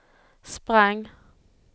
sprang